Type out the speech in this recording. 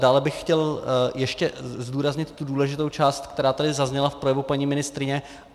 Dále bych chtěl ještě zdůraznit tu důležitou část, která tady zazněla v projevu paní ministryně.